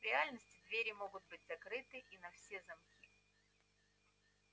в реальности двери могут быть закрыты и на все замки